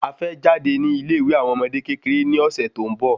A fẹ́ jáde ni ile ìwé àwọn ọmọdé kékeré ni ọ̀sẹ̀ tó ń bọ